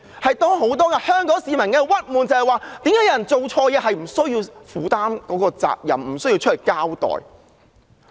很多香港市民的鬱結是，為何有人做錯事不需要負責，不需要交代？